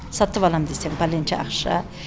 сатып аламын десең пәленше ақша